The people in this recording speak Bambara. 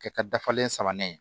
Kɛ ka dafalen sabanan ye